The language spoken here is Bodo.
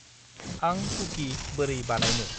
आंं कुकि बोरै बानायनो?